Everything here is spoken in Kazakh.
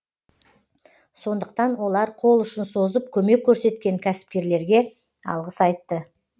сондықтан олар қол ұшын созып көмек көрсеткен кәсіпкерлерге алғыс айтты